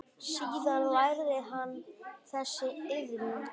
Síðan lærði hann þessa iðn.